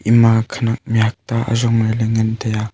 ama khanak nay ajongle le ngan tea.